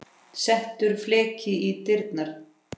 Settur fleki í dyrnar.